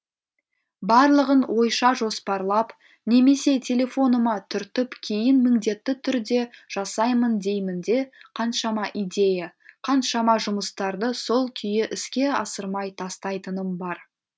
барлығын ойша жоспарлап немесе телефоныма түртіп кейін міңдетті түрде жасаймын деймін де қаншама идея қаншама жұмыстарды сол күйі іске асырмай тастайтыным бар